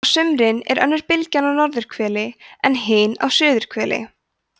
á sumrin er önnur bylgjan á norðurhveli en hin á suðurhveli